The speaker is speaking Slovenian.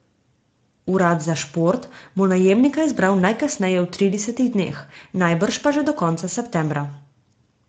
Urad za šport bo najemnika izbral najkasneje v tridesetih dneh, najbrž pa že do konca septembra.